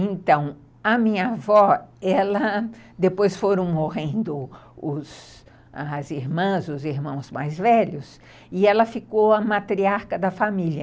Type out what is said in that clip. Então, a minha avó, ela, depois foram morrendo os as irmãs, os irmãos mais velhos, e ela ficou a matriarca da família.